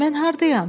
Mən hardayam?